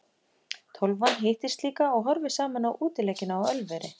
Tólfan hittist líka og horfir saman á útileikina á Ölveri.